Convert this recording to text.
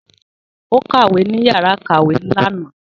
Ó kàwé ní yàrá ìkàwé lànà